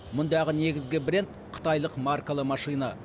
мұндағы негізгі бренд қытайлық маркалы машина